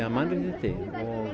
mannréttindi og